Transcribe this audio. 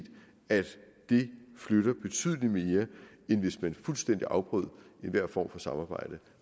at det flytter betydelig mere end hvis man fuldstændig afbrød enhver form for samarbejde